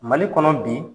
Mali kɔnɔ bi